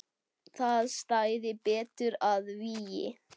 Það stæði betur að vígi.